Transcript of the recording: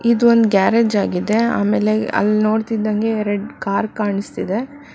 ಇದು ಒಂದ್ ಗ್ಯಾರೇಜ್ ಆಗಿದೆ ಅಮೇಲೆ ಅಲ್ ನೋಡ್ತಿದಂಗೆ ಎರಡ್ ಕಾರ್ ಕಾಣಿಸ್ತಿದೆ.